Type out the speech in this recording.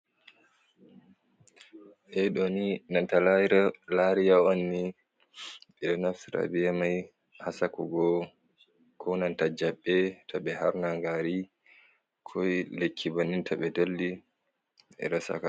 Ɗe ɗo ni nanta lariya on ni ɓeɗo naftira be mai ha sekugo, ko nanta jaɓɓe ta ɓe harnangari ko lekki bannin to ɓe dolli ɓeɗo Saka.